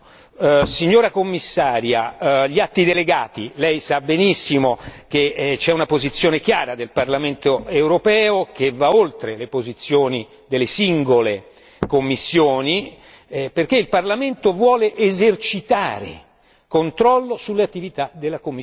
Signora Commissaria, gli atti delegati, lei sa benissimo che c'è una posizione chiara del Parlamento europeo che va oltre le posizioni delle singole commissioni perché il Parlamento vuole esercitare controllo sulle attività della Commissione.